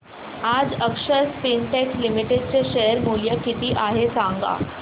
आज Akshar Spintex limited चे share मूल्य किती आहे सांगा